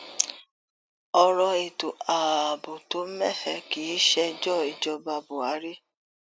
ọrọ ètò ààbò tó mẹhẹ kì í ṣèjọ ìjọba buhari